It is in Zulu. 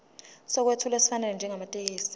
sokwethula esifanele njengamathekisthi